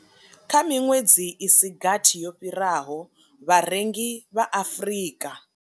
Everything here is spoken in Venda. Kha miṅwedzi i si gathi yo fhiraho, vharengi vha Afrika.